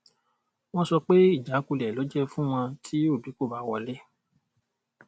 wọn sọ pé ìjákulẹ lè jẹ fún wọn tí obi kò bá wọlé